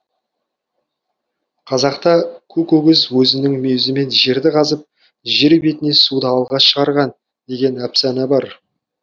қазақта көк өгіз өзінің мүйізімен жерді қазып жер бетіне суды алғаш шығарған деген әпсана бар